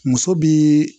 Muso bi